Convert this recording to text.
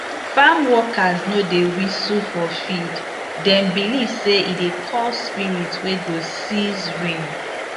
farm workers no dey whistle for field dem believe say e dey call spirit wey go cease rain